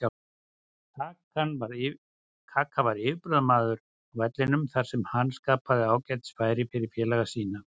Kaka var yfirburðamaður á vellinum þar sem hann skapaði ágætis færi fyrir félaga sína.